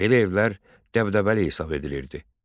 Belə evlər dəbdəbəli hesab edilirdi.